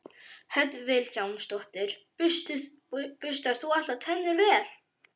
Hödd Vilhjálmsdóttir: Burstar þú alltaf tennurnar vel?